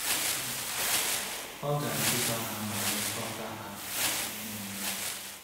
um Ọ ga-eduba ha ma lekọta ha n’ime mmụọ.